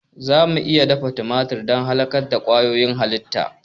Za mu iya dafa tumatir don halakar da ƙwayoyin halitta.